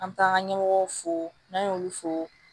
An bɛ taa an ka ɲɛmɔgɔw fo n'an y'olu fo